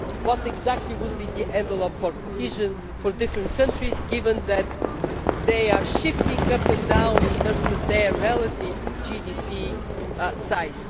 What exactly would be the envelope for cohesion for different countries, given that they are shifting up and down in terms of their relative GDP size?